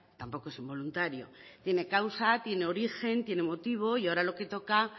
tampoco es involuntario tiene causa tiene origen tiene motivo y ahora lo que toca